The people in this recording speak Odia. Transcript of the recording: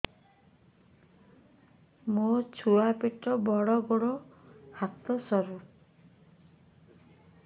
ମୋ ଛୁଆ ପେଟ ବଡ଼ ଗୋଡ଼ ହାତ ସରୁ